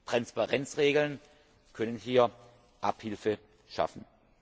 Transparenzregeln können hier Abhilfe schaffen.